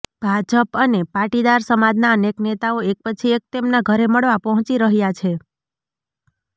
ભાજપ અને પાટીદાર સમાજના અનેક નેતાઓ એક પછી એક તેમના ઘરે મળવા પહોંચી રહ્યા છે